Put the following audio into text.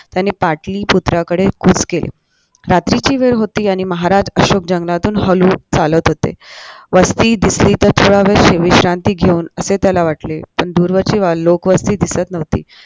त्याने पाटलीपुत्राकडे कूच केले रात्रीची वेळ होती आणि महाराज अशोक जंगलातून हळू चालत होते वासाठी दिसली तर थोडा वेळ विश्रांती घेऊ असे त्याला वाटले पण दूरवरची लोकवासाठी दिसत नव्हती